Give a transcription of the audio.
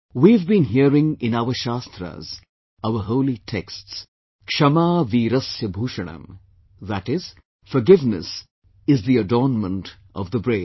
' We have been hearing in our shaastras, our holy texts, "KshamaVeerasya Bhushanam", that is, forgiveness is the adornment of the brave